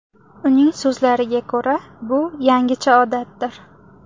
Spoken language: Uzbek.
Uning so‘zlariga ko‘ra, bu yangicha odatdir.